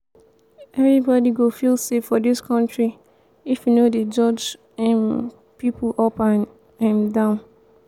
everybody go feel safe for dis country if we no dey judge um pipo up and um down.